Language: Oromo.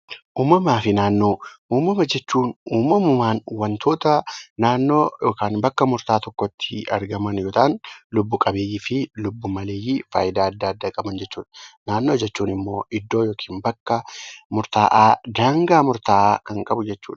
Uumamaa fi naannoo Uumama jechuun uumamumaan waantota naannoo yookaan bakka murtaawaa tokkotti argaman yoo ta'an, lubbu qabeeyyii fi lubbu maleeyyii fayidaa addaa addaa qaban jechuudha. Naannoo jechuun immoo iddoo yookaan bakka murtaawaa, bakka daangaa murtaawaa kan qabu jechuudha.